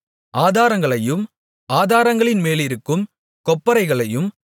ஆதாரங்களையும் ஆதாரங்களின்மேலிருக்கும் கொப்பரைகளையும்